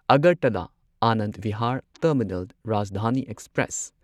Agartala Anand Vihar terminal Rajdhani express